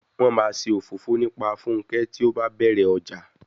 Wọn máa ṣe òfófó nípa Funke tí ó bá bẹ̀rẹ̀ ọjà.